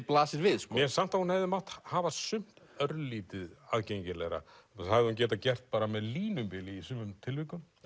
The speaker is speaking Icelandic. blasir við mér finnst að hún hefði mátt hafa sumt örlítið aðgengilegra það hefði hún getað gert bara með línubili í sumum tilvikum